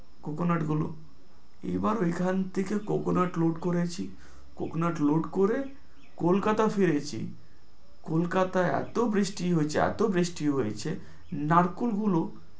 coconut গুলো। এইবার এইখান থেকে coconut load করে, কলকাতা ফিরেছি, কলকাতায় এত বৃষ্টি হয়ছে, এত বৃষ্টি হয়ছে, নারকল গুলো